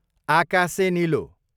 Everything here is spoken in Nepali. आकासे निलो